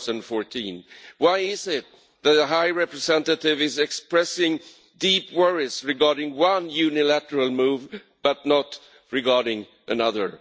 2014? Why is it that the High Representative is expressing deep worries regarding one unilateral move, but not another?